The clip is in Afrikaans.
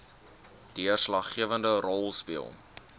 deurslaggewende rol speel